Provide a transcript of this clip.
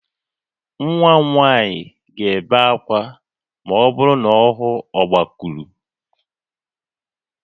Nwa m nwanyị ga-ebe akwa ma ọ hụ ọgbakụrụ